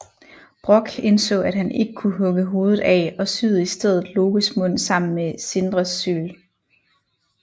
Brokk indså at han ikke kunne hugge hovedet af og syede i stedet Lokes mund sammen med Sindres syl